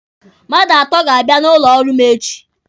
Mmadụ atọ ga-abịa n'ụlọ ọrụ m echi.